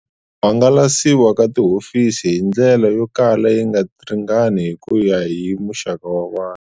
Ku hangalasiwa ka tihofisi hi ndlela yo kala yi nga ringani hi ku ya hi muxaka wa vanhu.